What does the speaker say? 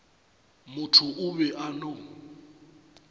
motho o be a no